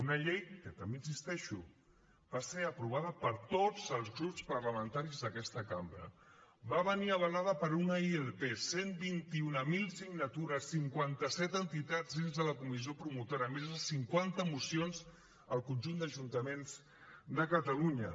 una llei que també hi insisteixo va ser aprovada per tots els grups parlamentaris d’aquesta cambra va venir avalada per una ilp cent i vint mil signatures cinquanta set entitats dins de la comissió promotora més de cinquanta mocions al conjunt d’ajuntaments de catalunya